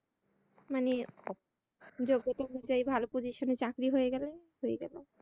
মানে যোগ্যতা অনুসারে ভালো position এ চাকরি হয়ে গেলে